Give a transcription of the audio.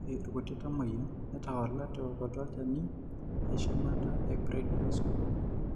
Ore irkuti tamuoyia netawala teokoto olchani eshumata eprednisone.